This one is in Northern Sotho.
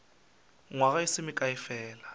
nywaga e se mekae fela